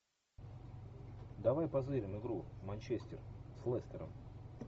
давай позырим игру манчестер с лестером